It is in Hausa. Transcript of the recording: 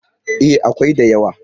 E, akwai da yawa.